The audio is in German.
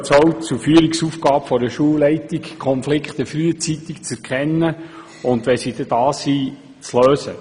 Weiter gehört es auch zur Führungsaufgabe einer Schulleitung, Konflikte frühzeitig zu erkennen und wenn sie da sind, zu lösen.